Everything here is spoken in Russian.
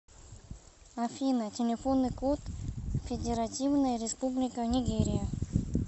афина телефонный код федеративная республика нигерия